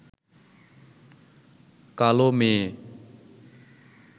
কালো মেয়ে